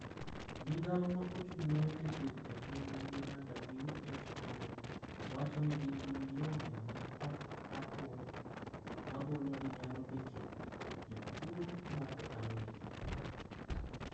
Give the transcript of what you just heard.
Migao ma ochung' ne wach thieth a piny mangima (WHO). wacho ni gin gi milome ma ok apuodh ma golo ni nyalo betie jotuo moko ariyo.